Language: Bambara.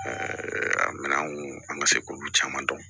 a minɛn kun an ka se k'olu caman dɔn